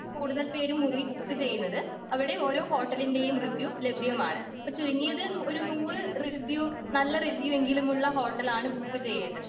കൂടുതൽ പേരും മുറി ബുക്ക് ചെയ്യുന്നത്.അവിടെ ഓരോ ഹോട്ടലിന്റെയും റിവ്യൂ ലഭ്യമാണ്.ഇപ്പൊ ചുരുങ്ങിയത് ഒരു നൂറ് റിവ്യൂ നല്ല റിവ്യൂയെങ്കിലുമുള്ള ഹോട്ടലാണ് ബുക്ക് ചെയ്യേണ്ടത്.